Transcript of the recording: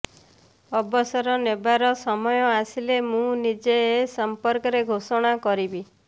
ଅବସର ନେବାର ସମୟ ଆସିଲେ ମୁଁ ନିଜେ ଏସମ୍ପର୍କରେ ଘୋଷଣା କରିବି